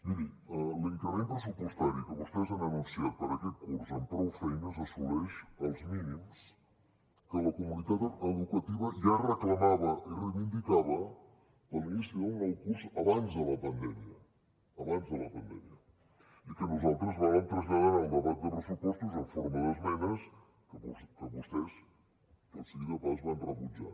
miri l’increment pressupostari que vostès han anunciat per aquest curs amb prou feines assoleix els mínims que la comunitat educativa ja reclamava i reivindicava per l’inici del nou curs abans de la pandèmia abans de la pandèmia i que nosaltres vàrem traslladar en el debat de pressupostos en forma d’esmenes que vostès tot sigui dit de pas van rebutjar